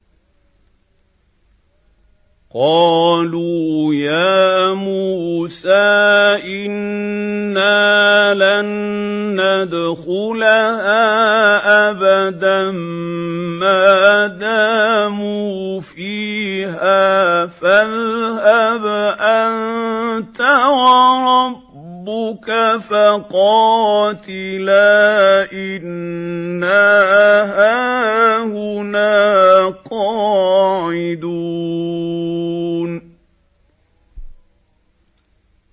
قَالُوا يَا مُوسَىٰ إِنَّا لَن نَّدْخُلَهَا أَبَدًا مَّا دَامُوا فِيهَا ۖ فَاذْهَبْ أَنتَ وَرَبُّكَ فَقَاتِلَا إِنَّا هَاهُنَا قَاعِدُونَ